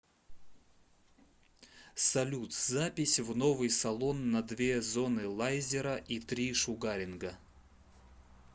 салют запись в новый салон на две зоны лайзера и три шугаринга